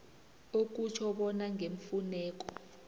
okutjho bona ngeemfuneko